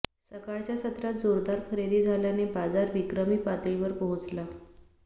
सकाळच्या सत्रात जोरदार खरेदी झाल्याने बाजार विक्रमी पातळीवर पोहोचला